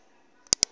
vhakerube